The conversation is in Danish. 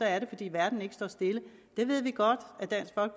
er det fordi verden ikke står stille det ved vi godt